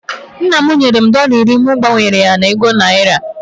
Nna m nyere m dọla iri mụ gbanwere ya na ego naira